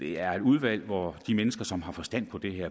det er et udvalg hvor de mennesker som har forstand på det her